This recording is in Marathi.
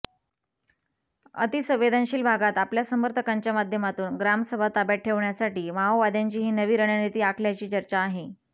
अतिसंवेदनशील भागात आपल्या समर्थकांच्या माध्यमातून ग्रामसभा ताब्यात ठेवण्यासाठी माओवाद्यांची ही नवी रणनिती आखल्याची चर्चा आहे